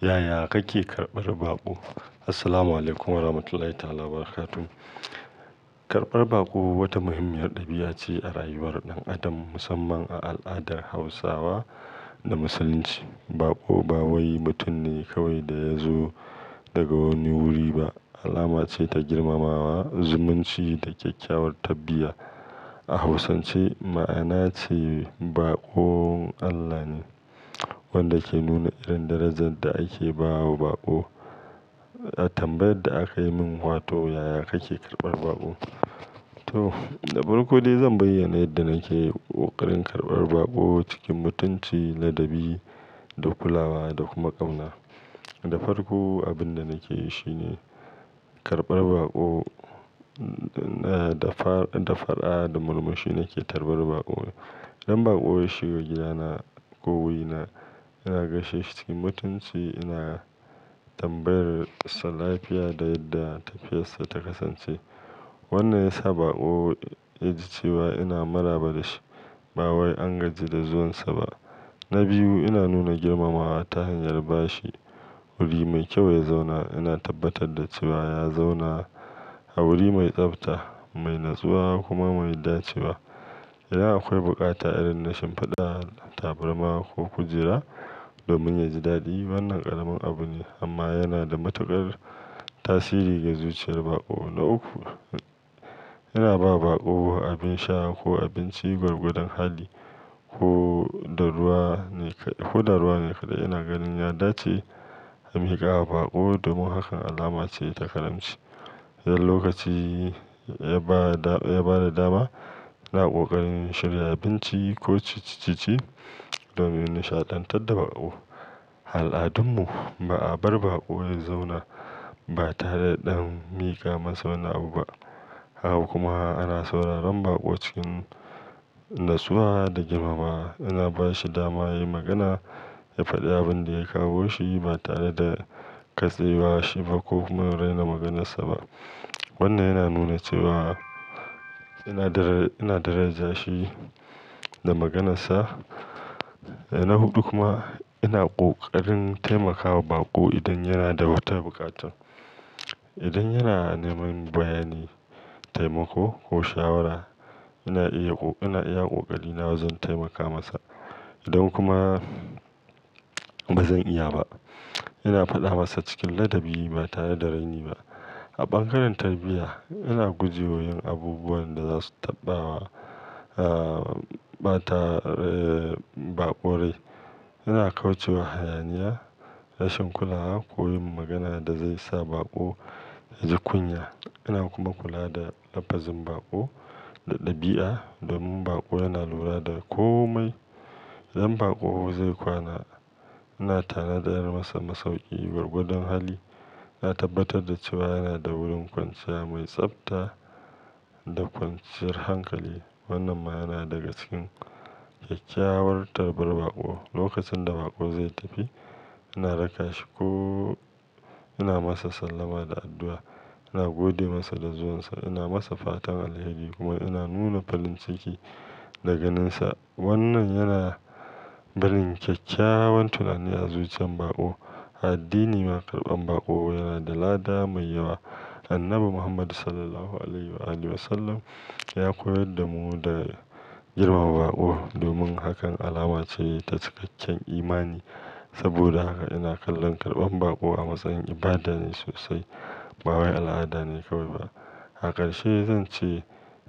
Yaya kake karɓar baƙo? Assalamualaikum Warahmatullahi ta'ala Wabarakatuh. Karɓar baƙo wata muhimmiyar ɗabi'a ce a rayuwar ɗan adam, musamman a al'adar Hausawa da Musulunci. Baƙo ba wai mutum ne kawai da ya zo daga wani wuri ba, alama ce ta girmamawa, zumunci da kyakkyawar tarbiyya. A Hausance, ma'ana ce "baƙon Allah ne," wanda ke nuna irin darajar da ake bawa baƙo. Tambayar da aka yi min, wato "yaya kake karɓar baƙo?" To, da farko dai zan bayyana yadda nake ƙoƙarin karɓar baƙo cikin mutunci, ladabi da kulawa da kuma ƙauna. Da farko, abin da nake yi shine karɓar baƙo da, da fara'a da murmushi nake tarbar baƙo. Idan baƙo ya shiga gidana ko wurina, ina gaishe shi cikin mutunci, ina tambayar sa lafiya da yadda tafiyar sa ta kasance. Wannan ya sa baƙo ya ji cewa ina maraba da shi, ba wai an gaji da zuwan sa ba. Na biyu, ina nuna girmamawa ta hanyar ba shi wuri mai kyau ya zauna. Ina tabbatar da cewa ya zauna a wuri mai tsabta, mai natsuwa kuma mai dacewa. Idan akwai bukata irin na shinfida tabarma ko kujera domin ya ji daɗi, wannan ƙaramin abu ne amma yana da matuƙar tasiri ga zuciyar baƙo. Na uku, ina ba baƙo abin sha ko abinci gwargwadon hali ko da ruwa ne kaɗai. Ina ganin ya dace a miƙa wa baƙo, domin hakan alama ce ta karamci. Idan lokaci, ya ba da, ya ba da dama, ina ƙoƙarin shirya abinci ko ciccice domin nishaɗantar da baƙo. A al'adunmu, ba a bar baƙo ya zauna ba tare da an miƙa masa wani abu ba. Haka kuma ana sauraron baƙo cikin natsuwa da girmamawa. Ina ba shi dama ya yi magana, ya faɗi abin da ya kawo shi ba tare da katse wa shi ba ko kuma raina maganarsa ba. Wannan yana nuna cewa ina daraja shi da maganarsa. Na huɗu kuma, ina ƙoƙarin taimaka wa baƙo idan yana da wata bukata. Idan yana neman bayani, taimako ko shawara, ina iya, ina iya ƙoƙari nawa zan taimaka masa. Idan kuma ba zan iya ba, ina faɗa masa cikin ladabi ba tare da raini ba. A bangaren tarbiyya, ina guje wa yin abubuwan da za su taɓa wa, ah, bata baƙo rai. Ina kauce wa hayaniya, rashin kulawa ko yin magana da zai sa baƙo ya ji kunya. Ina kuma kula da lafazin baƙo da ɗabi'a domin baƙo yana lura da komai. Idan baƙo zai kwana, ina tanadar masa masauki gwargwadon hali. Na tabbatar da cewa yana da wurin kwanciya mai tsabta da kwanciyar hankali. Wannan ma yana daga cikin kyakkyawar tarbar baƙo. Lokacin da baƙo zai tafi, ina raka shi ko ina masa sallama da addu'a. Ina gode masa da zuwan sa, ina masa fatan alheri kuma ina nuna farin ciki da ganin sa. Wannan yana barin kyakkyawan tunani a zuciyan baƙo. A addini ma karɓan baƙo yana da lada mai yawa. Annabi Muhammadu Sallallahu Alaihi Wasallam ya koyar da mu da girmama baƙo, domin hakan alama ce ta cikakken imani. Saboda haka ina kallon karɓan baƙo a matsayin ibada ne sosai, ba wai al'ada ne kawai ba. A karshe zan ce